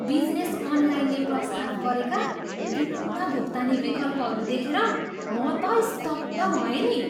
Business अनलाइनले प्रस्ताव गरेका विभिन्न भुक्तानी विकल्पहरू देखेर म त स्तब्ध भएँ नि।